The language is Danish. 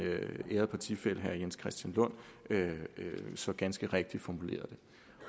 ærede partifælle herre jens christian lund så ganske rigtigt formulerede det